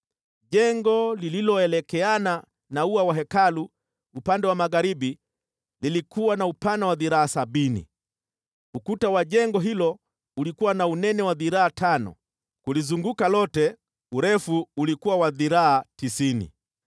Jengo lililoelekeana na ua wa Hekalu upande wa magharibi lilikuwa na upana wa dhiraa sabini. Ukuta wa jengo hilo ulikuwa na unene wa dhiraa tano, kulizunguka lote, urefu ulikuwa wa dhiraa tisini.